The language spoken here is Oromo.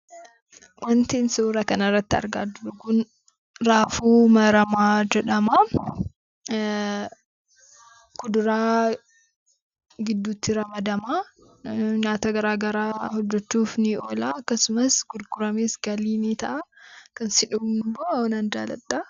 Wantin suuraa kanarratti argaa jiru kun raafuu maramaa jedhama. Kuduraa gidduutti ramadama. Nyaata garagaraa hojjachuuf ni oola. Akkasumas gurguramees galii ni ta'a. Kan sin dhibummoo nan jaaladha.